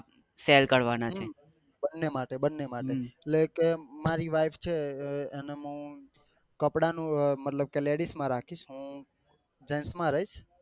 બન્ને માટે બન્ને માટે એટલે કે મારી wife છે એને મુ કપડા નું મતલબ કે ladies માં રાખીશ હું gents માં રહીશ.